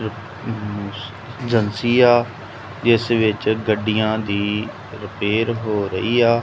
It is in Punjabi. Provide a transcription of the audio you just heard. ਏਜੇਂਸੀ ਆ ਇਸ ਵਿੱਚ ਗੱਡੀਆਂ ਦੀ ਰਿਪੇਅਰ ਹੋ ਰਹੀ ਆ।